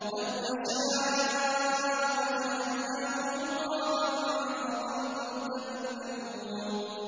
لَوْ نَشَاءُ لَجَعَلْنَاهُ حُطَامًا فَظَلْتُمْ تَفَكَّهُونَ